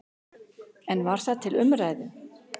En var það til umræðu?